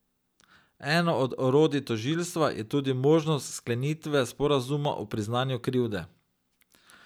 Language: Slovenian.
Eno od orodij tožilstva je tudi možnost sklenitve sporazuma o priznanju krivde.